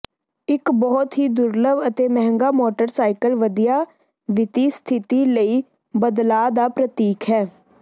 ਇੱਕ ਬਹੁਤ ਹੀ ਦੁਰਲੱਭ ਅਤੇ ਮਹਿੰਗਾ ਮੋਟਰਸਾਈਕਲ ਵਧੀਆ ਵਿੱਤੀ ਸਥਿਤੀ ਲਈ ਬਦਲਾਅ ਦਾ ਪ੍ਰਤੀਕ ਹੈ